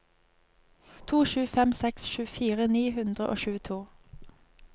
to sju fem seks tjuefire ni hundre og tjueto